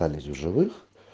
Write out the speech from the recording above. остались в живых